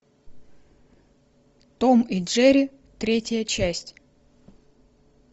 том и джерри третья часть